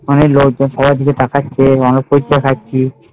অনেক লোকজন আমাদের দিকে তাকাচ্ছে